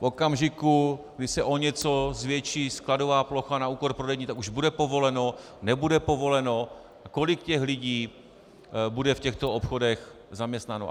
V okamžiku, kdy se o něco zvětší skladová plocha na úkor prodejní, tak už bude povoleno, nebude povoleno, kolik těch lidí bude v těchto obchodech zaměstnáno.